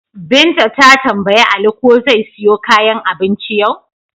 Binta ta tambayi Ali ko zai siyo kayan abincin yau?